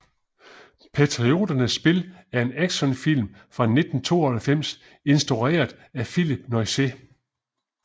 Patrioternes spil er en actionfilm fra 1992 instrueret af Phillip Noyce